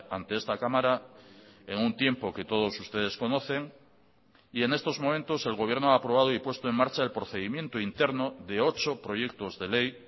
ante esta cámara en un tiempo que todos ustedes conocen y en estos momentos el gobierno ha aprobado y puesto en marcha el procedimiento interno de ocho proyectosde ley